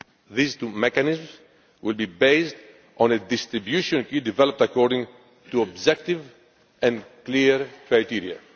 These two mechanisms will be based on a distribution key developed according to objective and clear criteria.